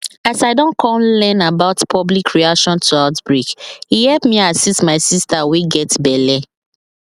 as i don come learn about public reaction to outbreak e help me assist my sister wey get belle